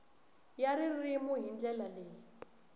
ya ririmi hi ndlela leyi